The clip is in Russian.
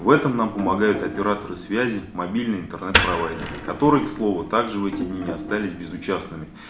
в этом нам помогают операторы связи мобильный интернет провайдеры которые к слову также в эти дни не остались безучастными